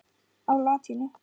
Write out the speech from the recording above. á latínu.